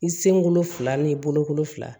I senkolo fila ni boloko fila